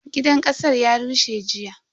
Gidan kasar ya rushe jiya.